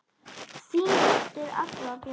Þín dóttir, Agla Björk.